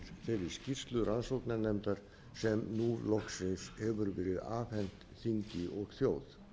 þeirri skýrslu rannsóknarnefndar sem nú loksins hefur verið afhent þingi og þjóð